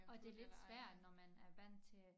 Og det lidt svært når man er vandt til at